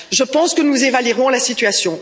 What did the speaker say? Je pense que nous évaluerons la situation.